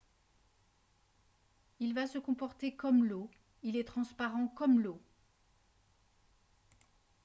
« il va se comporter comme l’eau. il est transparent comme l’eau